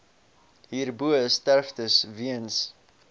hierbo sterftes weens